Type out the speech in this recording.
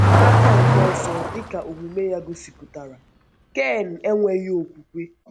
N’aka nke ọzọ, dị ka omume ya gosipụtara, Ken enweghị okwukwe.